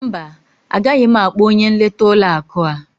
Mba, agaghị m akpọ onye nleta ụlọ akụ a.